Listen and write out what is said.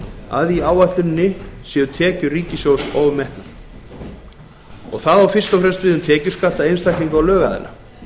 að í áætluninni séu tekjur ríkissjóðs ofmetnar það á fyrst og fremst við um tekjuskatta einstaklinga og lögaðila